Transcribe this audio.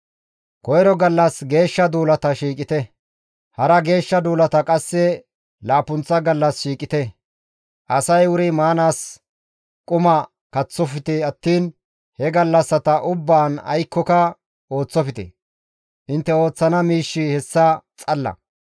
Koyro gallas geeshsha duulata shiiqite; hara geeshsha duulata qasse laappunththa gallas shiiqite; asay wuri maanaas quma kaththofe attiin he gallassata ubbaan aykkoka ooththofte; intte ooththana miishshi hessa xalla.